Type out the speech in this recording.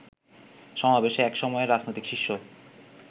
সমাবেশে এক সময়ের রাজনৈতিক শিষ্য